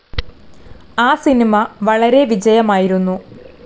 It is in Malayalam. ആ സിനിമ വളരെ വിജയമായിരുന്നു.